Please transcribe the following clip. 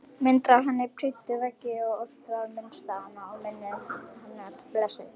Myndir af henni prýddu veggi og oft var minnst á hana og minning hennar blessuð.